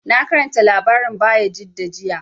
Na karanta labarin Bayajidda jiya